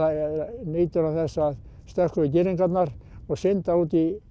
nýtur hann þess að stökkva yfir girðingar og synda út í